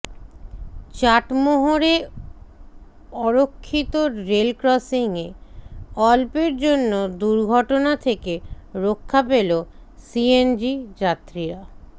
চাটমোহরে অরক্ষিত রেলক্রসিংএ অল্পের জন্য দূর্ঘটনা থেকে রক্ষা পেল সিএনজি যাত্রীরা